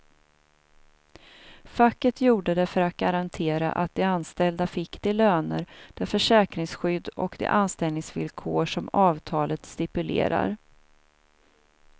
Facket gjorde det för att garantera att de anställda fick de löner, det försäkringsskydd och de anställningsvillkor som avtalet stipulerar.